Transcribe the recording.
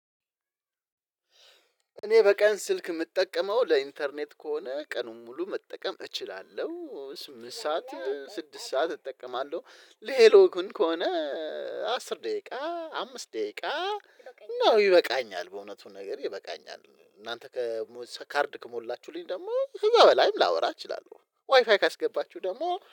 እኔ በቀን ስልክ የምጠቀመው ለኢንተርኔት ከሆነ ቀኑን ሙሉ መጠቀም እችላለሁ ስምንት ሰዓት ስድስት ሰዓት እጠቀማለሁ። ለሄሎ ግን ከሆነ አስር ደቂቃ አምስት ደቂቃ ነው ይበቃኛል። በእውነቱን ነገር ይበቃኛል። እናንተ ከካርድ ከሞላችሁልኝ ደግሞ ህያው በላይም ላወራ እችላለሁ ዋይፋይ ካስገባችሁ ደግሞ